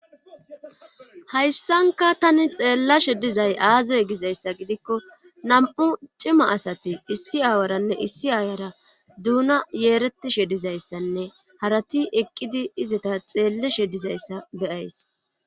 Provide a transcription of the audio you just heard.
Hayssanka tani xeellashe dizay aaze gizayssa gidikko nam7u cima asati issi aawaranne issi aayara duuna yeeretishe dizayssanne harati eqqidi izata xeelleshe dizayssa beyays